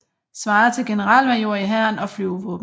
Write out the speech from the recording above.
Svarer til generalmajor i Hæren og Flyvevåbnet